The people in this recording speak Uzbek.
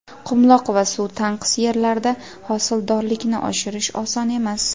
qumloq va suv tanqis yerlarida hosildorlikni oshirish oson emas.